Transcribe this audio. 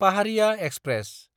Paharia express